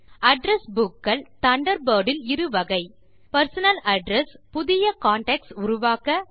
address book கள் Thunderbird இல் இரு வகை பெர்சனல் அட்ரெஸ் புதிய கான்டாக்ட்ஸ் உருவாக்க